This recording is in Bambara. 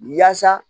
Yaasa